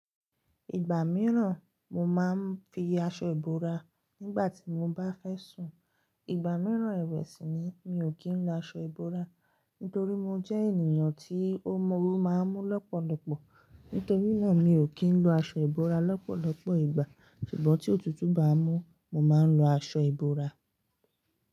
Ìgbà mìíràn mo máa ń fi aṣọ ìbora nígbà tí mo bá fẹ́ sùn. Ìgbà mìíràn ew si ni mi ò kí ń lọ aṣọ ìbora, nítorí mo jẹ́ ènìyàn tí ómóru oru máa ń mú lọ́pọ̀lọpọ̀. Nítorí náà mi ò kí ń lọ aṣọ ìbora lọ́pọ̀lọpọ̀ ìgbà. Ṣùgbọ́n tí òtútù bá mú, mo máa ń lọ aṣọ ìbora.